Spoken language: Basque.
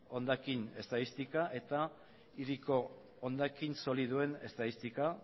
hondakin estatistikak eta hiriko hondakin solidoen estadistika